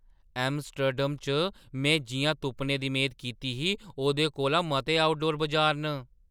Amsterdam च में जिʼयां तुप्पने दी मेद कीती ही, ओह्दे कोला मते आउटडोर बजार न।